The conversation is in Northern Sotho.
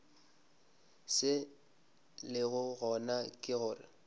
se lego gona ke gore